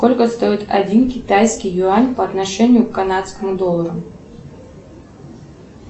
сколько стоит один китайский юань по отношению к канадскому доллару